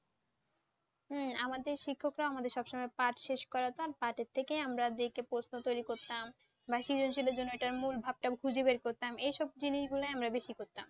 হ্যাঁ আমাদের শিক্ষকরা, আমাদের সবসময় পার্ট শেষ করা তো আর পাটের থেকেই আমরা দেখে প্রশ্ন তৈরি করতাম বা সৃজনশীলের জন্য ওটা মূল ভাবটা খুঁজে বের করতাম এইসব জিনিসগুলোই আমরা বেশি করতাম।